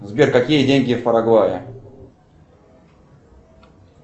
сбер какие деньги в парагвае